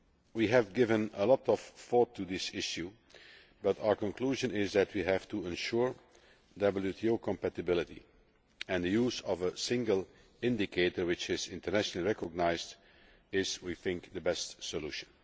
We have given a lot of thought to this issue, but our conclusion is that we have to ensure WTO compatibility, and the use of a single indicator which is internationally recognised is, we think, the best solution.